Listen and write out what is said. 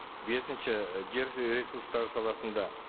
бесінші жер ресурстары саласында